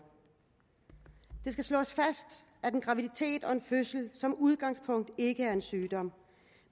det skal slås fast at en graviditet og en fødsel som udgangspunkt ikke er en sygdom